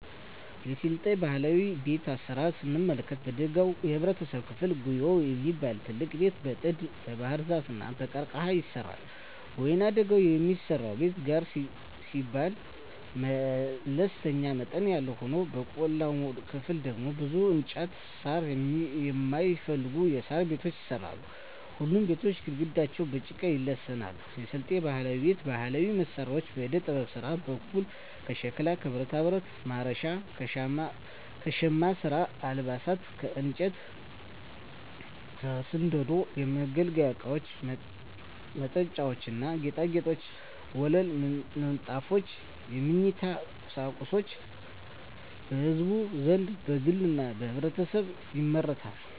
የስልጤ ባህላዊ ቤት አሰራር ስንመለከት በደጋው የህብረተሰብ ክፍል ጉዬ የሚባል ትልቅ ቤት በጥድ, በባህርዛፍ እና በቀርቀሀ ይሰራል። በወይናደጋው የሚሰራው ቤት ጋር ሲባል መለስተኛ መጠን ያለው ሆኖ በቆላማው ክፍል ደግሞ ብዙ እንጨትና ሳር የማይፈልጉ የሣር ቤቶች ይሰራሉ። ሁሉም ቤቶች ግድግዳቸው በጭቃ ይለሰናሉ። የስልጤ ባህላዊ ቤት ባህላዊ መሳሪያዎች በዕደጥበብ ስራ በኩል ከሸክላ ከብረታብረት (ማረሻ) ከሻማ ስራ አልባሳት ከእንጨት ከስንደዶ የመገልገያ እቃወች መጠጫዎች ና ጌጣጌጦች ወለል ምንጣፎች የመኝታ ቁሳቁሶች በህዝቡ ዘንድ በግልና በህብረት ይመረታሉ።